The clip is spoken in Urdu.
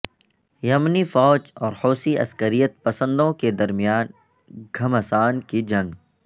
یمنی فوج اور حوثی عسکریت پسندوں کے درمیان گھمسان کی جنگ